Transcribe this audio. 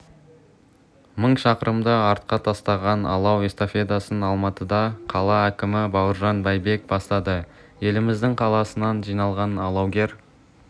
мың шақырымды артқа тастаған алау эстафетасын алматыда қала әкімі бауыржан байбек бастады еліміздің қаласынан жиналған алаугер